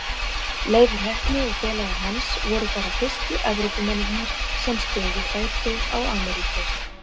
Leifur heppni og félagar hans voru bara fyrstu Evrópumennirnir sem stigu fæti á Ameríku.